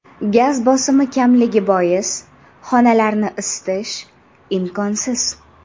Gaz bosimi kamligi bois xonalarni isitish imkonsiz.